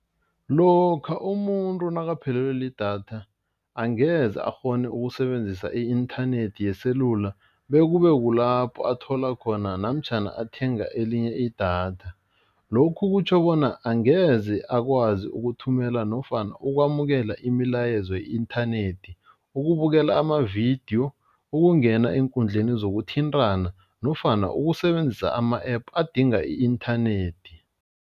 Lokha umuntu nakaphelelwe lidatha angeze akghone ukusebenzisa i-inthanethi yeselula bekube kulapho athola khona namtjhana athenga elinye idatha, lokhu kutjho bona angeze akwazi ukuthumela nofana ukwamukela imilayezo ye-inthanethi ukubukela amavidiyo, ukungena eenkundleni zokuthintana nofana ukusebenzisa ama-app adinga i-inthanethi.